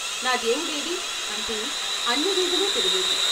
నా దేవుడేడి అంటూ అన్ని వీధులూ తిరిగేది.